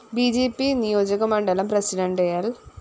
B J P നിയോജകമണ്ഡലം president ൽ